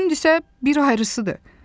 Kimdisə bir ayırısıdır.